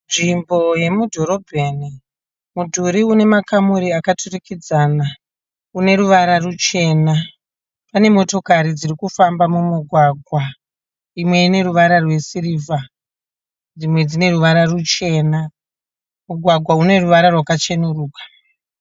Nzvimbo yemudhorobheni, mudhuri une makamuri akaturikidzana une ruvara ruchena. Pane motokari dziri kufamba mumugwagwa imwe ine ruvara rwesirivha dzimwe dzine ruvara ruchena. Mugwagwa une ruvara rwakacheneruka.